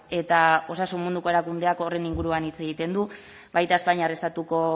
eta osasun munduko erakundeak horren inguruan hitz egiten du baita espainiar estatuko